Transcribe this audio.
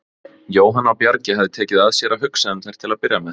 Jóhann á Bjargi hafði tekið að sér að hugsa um þær til að byrja með.